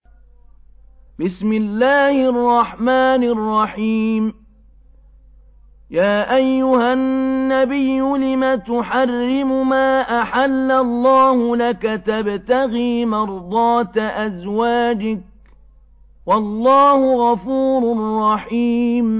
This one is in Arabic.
يَا أَيُّهَا النَّبِيُّ لِمَ تُحَرِّمُ مَا أَحَلَّ اللَّهُ لَكَ ۖ تَبْتَغِي مَرْضَاتَ أَزْوَاجِكَ ۚ وَاللَّهُ غَفُورٌ رَّحِيمٌ